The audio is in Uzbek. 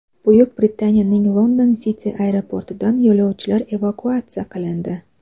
Buyuk Britaniyaning London City aeroportidan yo‘lovchilar evakuatsiya qilindi.